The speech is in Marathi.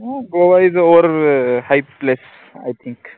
गोवा isoverhighplaceIthink